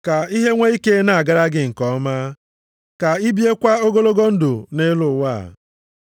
“Ka ihe nwe ike na-agara gị nke ọma, ka ị biekwa ogologo ndụ nʼelu ụwa.” + 6:3 \+xt Dit 5:16\+xt*